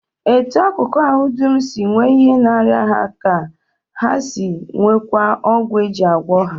Etu akụkụ ahụ dum si nwee ihe na-arịa ha ka ha si nweekwa ọgwụ e ji agwọ ha